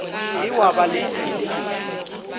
ke wa ba le dilebišwa